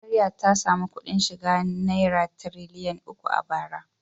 Najeriya ta sami kuɗin shiga naira tiriliyan uku a bara.